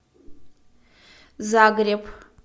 загреб